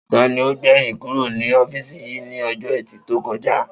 Ta ni ó gbè̩yìn kúrò ní ó̩fíìsì yìí ní o̩jó̩ E̩tì tó ko̩ja?